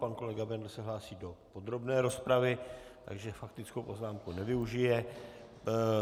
Pan kolega Bendl se hlásí do podrobné rozpravy, takže faktickou poznámku nevyužije.